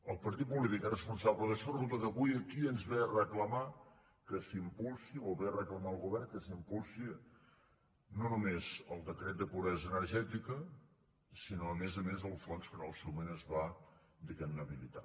el partit polític que és responsable d’això resulta que avui aquí ens ve a reclamar o ve a reclamar al govern que s’impulsi no només el decret de pobresa energètica sinó a més a més el fons que en el seu moment es va diguem ne habilitar